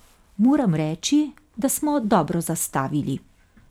Moram reči, da smo dobro zastavili.